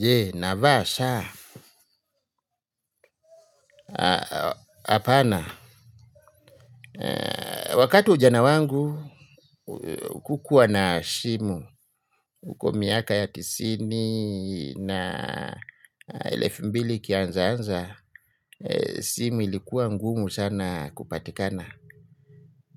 Je, navaa saa, hapana, wakati wa ujana wangu, kukua na simu, huko miaka ya tisini na elefu mbili ikianzaanza, simu ilikuwa ngumu sana kupatikana.